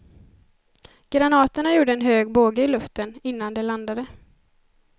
Granaterna gjorde en hög båge i luften, innan de landade.